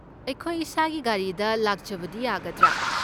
ꯑꯩꯈꯣꯏ ꯏꯁꯥꯒꯤ ꯒꯥꯔꯤꯗ ꯂꯥꯛꯆꯕꯗꯤ ꯌꯥꯒꯗ꯭ꯔꯥ?